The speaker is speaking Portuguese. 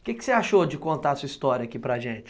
O que você achou de contar a sua história aqui para gente?